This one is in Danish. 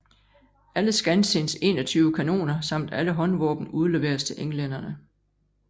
Alle Skansins 21 kanoner samt alle håndvåben udleveres til englænderne